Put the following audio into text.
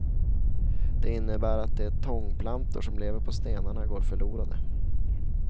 Det innebär att de tångplantor som lever på stenarna går förlorade.